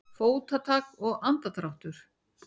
Fótatak og andardráttur.